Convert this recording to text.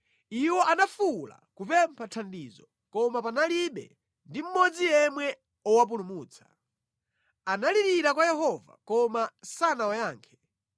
Iwo anafuwula kupempha thandizo, koma panalibe ndi mmodzi yemwe owapulumutsa. Analirira kwa Yehova koma sanawayankhe.